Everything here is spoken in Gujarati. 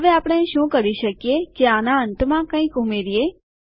હવે આપણે શું કરી શકીએ કે આના અંતમાં કંઈક ઉમેરીએ